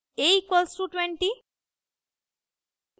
a=20